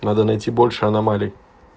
надо найти больше аномалий